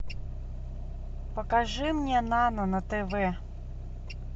покажи мне нано на тв